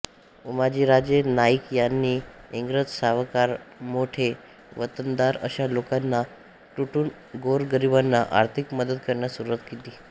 उमाजीराजे नाईक यांनी इंग्रज सावकारमोठे वतनदार अशा लोकांना लुटून गोरगरिबांना आर्थिक मदत करण्यास सुरवात केली